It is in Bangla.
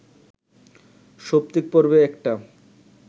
সৌপ্তিক পর্বে একটা